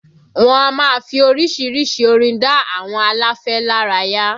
Wọ́n á máa fi orísìírísìí orin dá àwọn aláfẹ́ lára yá